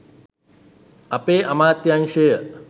අපේ අමාත්‍යංශය